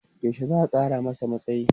yaushe za'a Kara masa matsayi?